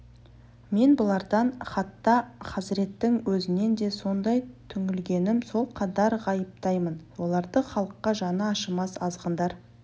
мен бұлардан хатта хазіреттің өзінен де сондай түңілгенмін сол қадар ғайыптаймын оларды халыққа жаны ашымас азғындар